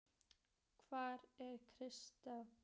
Hvar er kjarkurinn?